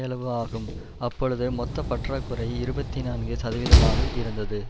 அளவு ஆகும் அப்பொழுது மொத்த பற்றாக்குறை இருபத்தி நான்கு சதவிகிதமாக இருந்தது